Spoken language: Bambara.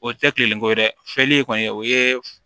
O tɛ tilelenko dɛ fiyɛli kɔni o ye